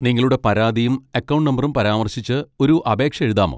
നിങ്ങളുടെ പരാതിയും അക്കൗണ്ട് നമ്പറും പരാമർശിച്ച് ഒരു അപേക്ഷ എഴുതാമോ?